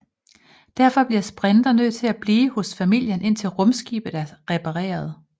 Derfor bliver Sprinter nødt til at blive hos familien indtil rumskibet er repareret